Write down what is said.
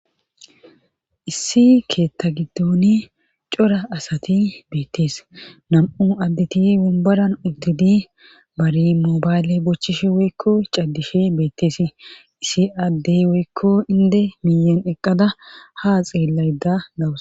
Issi keetta giddoni cora asati beettees nam'u additi bumbaran uddidi bari moobayle bochchishe woykko caddishe beettees issi addey woykko inde miyen eqqada haa xeelayda gawusa.